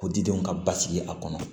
Ko didenw ka basigi a kɔnɔ